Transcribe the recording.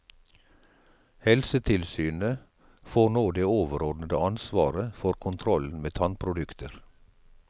Helsetilsynet får nå det overordnede ansvaret for kontrollen med tannprodukter.